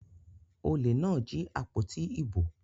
Olè náà jí àpótí ìbò.